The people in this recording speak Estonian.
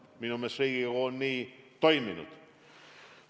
Minu meelest Riigikogu on nii toiminud.